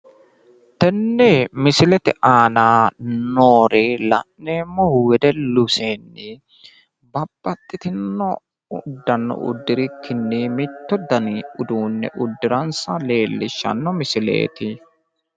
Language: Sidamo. Tenne misilete aana noori la'neemmohu wedellu seenni babbaxxitinno uddano uddirikkinni mittu dani uduunne uddiransa leellishshanno misileeti.